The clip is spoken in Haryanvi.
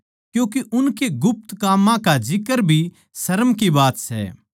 क्यूँके उनकै गुप्त काम्मां का जिक्र भी शर्म की बात सै